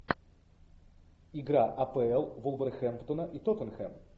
игра апл вулверхэмптона и тоттенхэм